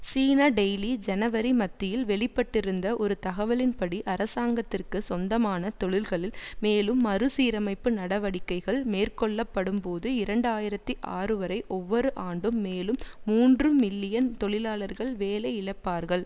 சீனா Daily ஜனவரி மத்தியில் வெளிப்பட்டிருந்த ஒரு தகவலின்படி அரசாங்கத்திற்குச் சொந்தமான தொழில்களில் மேலும் மறுசீரமைப்பு நடவடிக்கைகள் மேற்கொள்ளப்படும்போது இரண்டாயிரத்தி ஆறுவரை ஒவ்வொரு ஆண்டும் மேலும் மூன்றுமில்லியன் தொழிலாளர்கள் வேலையிழப்பார்கள்